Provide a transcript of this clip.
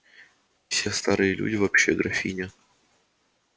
все старые люди вообще графиня